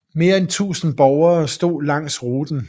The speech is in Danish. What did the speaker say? Mere end tusinde borgere stod langs ruten